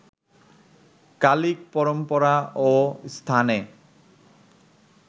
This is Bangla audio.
কালিক পরম্পরা ও স্থানে